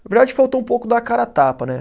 Na verdade, faltou um pouco dar a cara a tapa, né?